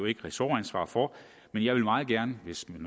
ikke ressortansvar for men jeg vil meget gerne hvis man